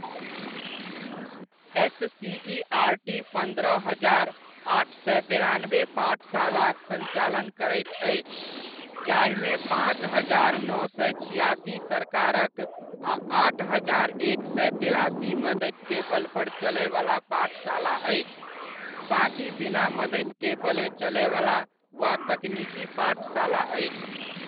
SCERT पन्द्रह हजार, आठ सए बेरानबे पाठशालाक सञ्चालन करैत अछि, जाहिमे पाँच हजार नओ सए छिआसि सरकारक आ आठ हजार एक सए तेरासी मदतिक बलपर चलयवला पाठशाला अछि, बाकी बिना मदतिक बले चलयवला वा तकनीकी पाठशाला अछि।